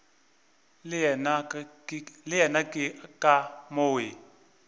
le yena ke ka moo